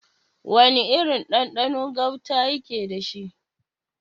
Wana irin ɗanɗano gauta yake dashi?